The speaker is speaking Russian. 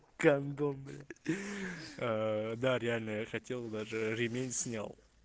гандон блять а да реально я хотел даже ремень снял